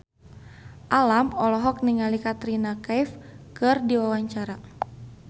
Alam olohok ningali Katrina Kaif keur diwawancara